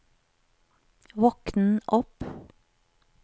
våkn opp